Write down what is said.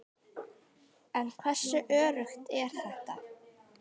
En hversu öruggt er þetta?